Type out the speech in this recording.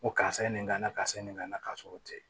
Ko karisa ye nin kana karisa ye nin kana ka sɔrɔ o tɛ